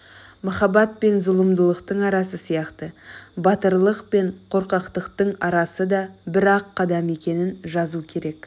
махаббат пен зұлымдықтың арасы сияқты батырлық пен қорқақтықтың арасы да бір-ақ қадам екенін жазу керек